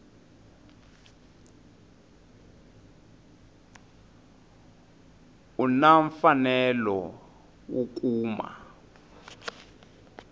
u na mfanelo wo kuma